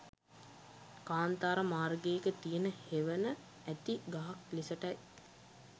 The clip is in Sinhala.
කාන්තාර මාර්ගයක තියෙන හෙවන ඇති ගහක් ලෙසටයි